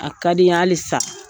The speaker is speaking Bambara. A ka di n ye hali sa